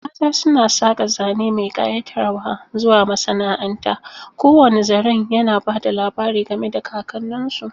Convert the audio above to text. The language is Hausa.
Mata suna saƙa zane mai kayatarwa zuwa masana'anta, kowane zaren yana ba da labari game da kakanninsu.